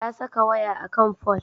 Ta saka waya a kan fol.